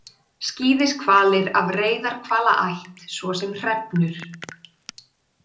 Skíðishvalir af reyðarhvalaætt svo sem hrefnur.